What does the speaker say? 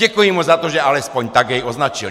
Děkuji mu za to, že alespoň tak jej označil.